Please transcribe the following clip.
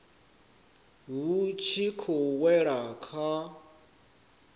vhu tshi khou wela kha